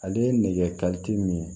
Ale ye nɛgɛ min ye